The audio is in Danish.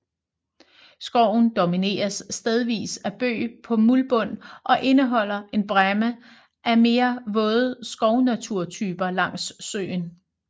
Skoven domineres stedvist af bøg på muldbund og indeholder en bræmme af mere våde skovnaturtyper langs søen